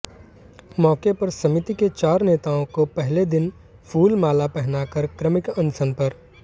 मौके पर समिति के चार नेताओं को पहले दिन फूलमाला पहनाकर क्रमिक अनशन पर